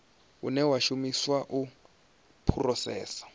une wa shumiswa u phurosesa